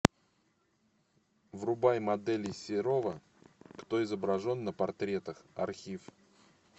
врубай моделей серова кто изображен на портретах архив